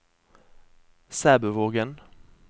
Sæbøvågen